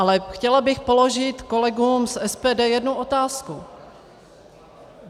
Ale chtěla bych položit kolegům z SPD jednu otázku.